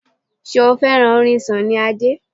Ṣé o fẹ́ràn orin Sunny Adé?